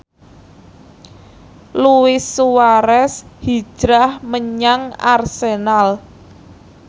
Luis Suarez hijrah menyang Arsenal